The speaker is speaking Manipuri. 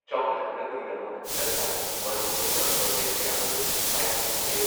ꯆꯥꯎꯈꯠꯍꯟꯅꯕꯒꯤꯗꯃꯛ ꯁꯔꯀꯥꯔꯅ ꯃꯔꯨꯑꯣꯏꯕ ꯄ꯭ꯔꯣꯖꯦꯛ ꯀꯌꯥꯃꯔꯨꯝ ꯄꯥꯏꯈꯠꯄ ꯍꯧꯔꯦ ꯫